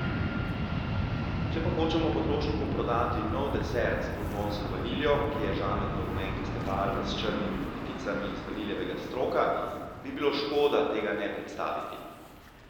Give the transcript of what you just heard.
Če pa hočemo potrošniku prodati nov desert z bourbonsko vaniljo, ki je žametno rumenkaste barve s črnimi pikicami iz vaniljevega stroka, bi bilo škoda tega ne predstaviti.